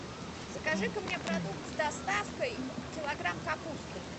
закажи ка мне продукт с доставкой килограмм капусты